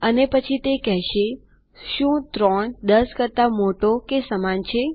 અને પછી તે કેહશેશું ૩ ૧૦ કરતા મોટો કે તેના સમાન છે